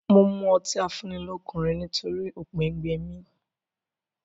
Mo mú ọtí afúnnilọ́kun rẹ nítòrì oùngbẹ gbẹ mí